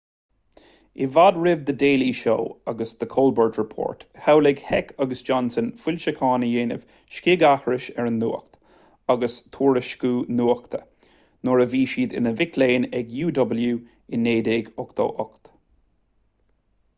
i bhfad roimh the daily show agus the colbert report shamhlaigh heck agus johnson foilseachán a dhéanamh scigaithris ar an nuacht agus tuairisciú nuachta-nuair a bhí siad ina mic léinn ag uw i 1988